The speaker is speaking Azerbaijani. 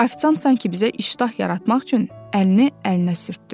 Afisant sanki bizə iştah yaratmaq üçün əlini əlinə sürtdü.